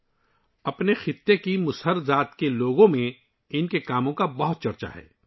ان کے کاموں کے بارے میں ، ان کے علاقے کے مُسہر ذات کے لوگوں میں ان کے کام کا بہت چرچا ہے